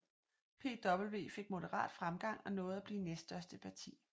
PVV fik moderat fremgang og nåede at blive næststørste parti